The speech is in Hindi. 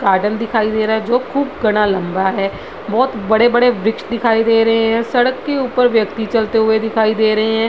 गार्डन दिखाई दे रहा जो खूब घना लम्बा है बहुत बड़े-बड़े वृक्ष दिखाई दे रहे है सड़क के ऊपर व्यक्ति चलते हुए दिखाई दे रहे है।